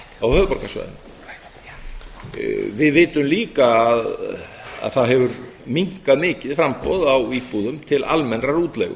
á höfuðborgarsvæðinu við vitum líka að það hefur minnkað mikið framboð á íbúðum til almennrar útleigu